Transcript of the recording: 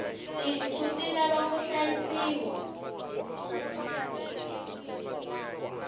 tinsu ti lava ku hlayisiwa